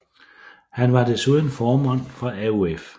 Han var desuden formand for AOF